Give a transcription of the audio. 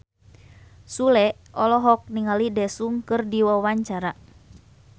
Sule olohok ningali Daesung keur diwawancara